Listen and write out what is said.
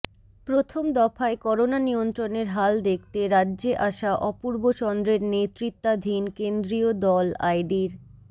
প্রথম দফায় করোনা নিয়ন্ত্রণের হাল দেখতে রাজ্যে আসা অপূর্ব চন্দ্রের নেতৃত্বাধীন কেন্দ্রীয় দল আইডির